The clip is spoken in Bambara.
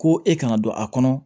Ko e kana don a kɔnɔ